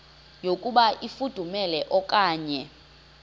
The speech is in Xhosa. yokuba ifudumele okanye